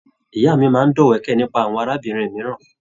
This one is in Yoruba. Ìyá mí máa n dọ̀wẹ̀kẹ̀ nípa àwọn arábìnrin mìíràn.